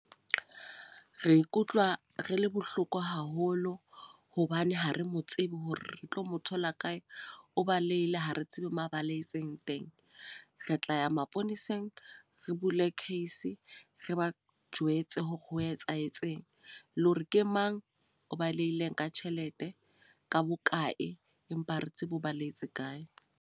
Re ikutlwa re le bohloko haholo. Hobane ha re mo tsebe hore re tlo mo thola kae. O balehile, ha re tsebe mo a balehetseng teng. Re tla ya maponeseng, re bule case. Re ba jwetse hore ho etsahetseng. Le hore ke mang o balehile ka tjhelete, ka bokae, empa re tsebe ho baleetse kae.